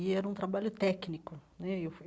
e era um trabalho técnico né e eu fui.